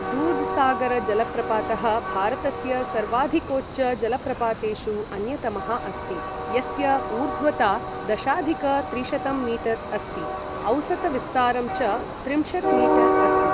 दूधसागरजलप्रपातः भारतस्य सर्वाधिकोच्चजलप्रपातेषु अन्यतमः अस्ति यस्य ऊर्ध्वता दशाधिक त्रिशतं मीटर् अस्ति, औसतविस्तारं च त्रिंशत् मीटर् अस्ति ।